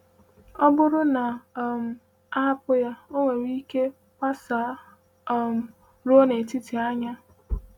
Ọ bụrụ na um a hapụ ya, ọ nwere ike gbasaa um ruo n’etiti anya.